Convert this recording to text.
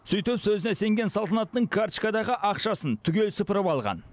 сөйтіп сөзіне сенген салтанаттың карточкадағы ақшасын түгел сыпырып алған